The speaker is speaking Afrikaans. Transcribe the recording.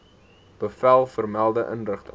bevel vermelde inrigting